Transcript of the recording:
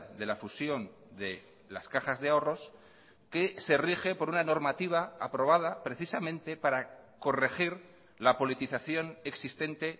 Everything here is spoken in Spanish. de la fusión de las cajas de ahorros que se rige por una normativa aprobada precisamente para corregir la politización existente